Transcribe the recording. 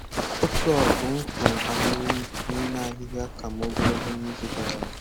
Otu ọgụ m fun ahụrụ m n'ime ahịhịa ka m ogologo n'izu gara aga